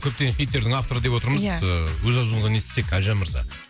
көптеген хиттердің авторы деп отырмыз ия ыыы өз аузыңыздан естісек әлжан мырза